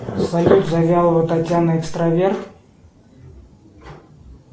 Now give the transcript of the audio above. салют завьялова татьяна экстраверт